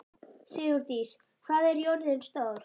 Sigurdís, hvað er jörðin stór?